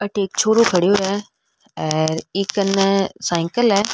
अठे एक छोरो खड्यो है आर ई कन्ने साइकिल है।